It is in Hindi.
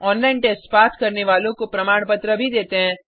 ऑनलाइन टेस्ट पास करने वालों को प्रमाण पत्र भी देते हैं